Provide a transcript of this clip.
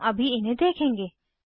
हम अभी इन्हें देखेंगे